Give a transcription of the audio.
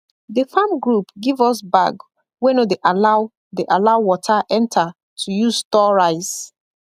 the farm group give us bag wey no dey allow dey allow water enter to use store rice